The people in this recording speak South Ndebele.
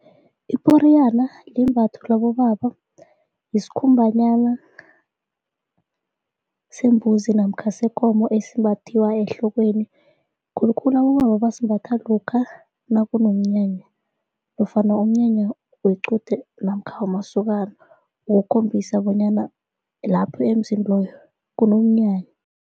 Iporiyana limbatho labobaba yisikhumbanyana sembuzi namkha sekomo esimbathwiwa ehlokweni khulukhulu abobaba basimbatha lokha nakunomnyanya nofana umnyanya wequde namkha wamasokana ukukhombisa bonyana lapho emzini loyo kunomnyanya.